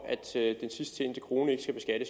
at sidst tjente krone